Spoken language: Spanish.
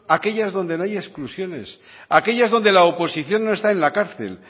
aquellas donde no haya exclusiones aquellas donde la oposición no está en la cárcel